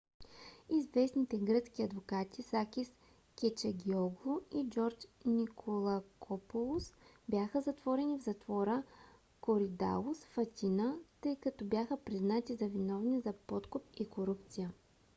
известните гръцки адвокати сакис кечагиоглу и джордж николакопулос бяха затворени в затвора коридалус в атина тъй като бяха признати за виновни за подкуп и корупция